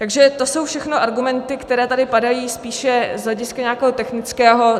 Takže to jsou všechno argumenty, které tady padají spíše z hlediska nějakého technického.